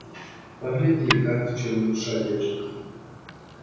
погляди как в чем душа держится